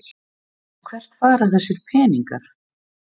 En hvert fara þessir peningar?